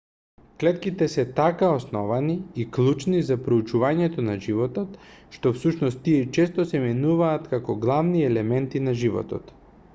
клетките се така основни и клучни за проучувањето на животот што всушност тие често се именуваат како главни елементи на животот